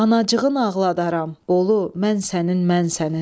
Ana acığını ağladaram, Bolu, mən sənin, mən sənin.